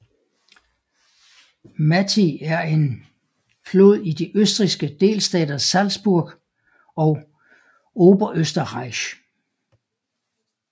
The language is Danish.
Mattig er en flod i de østrigske delstater Salzburg og Oberösterreich